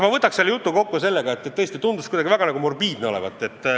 Ma võtaksin selle jutu kokku sõnadega, et tõesti, kõik räägitu tundus kuidagi väga morbiidne olevat.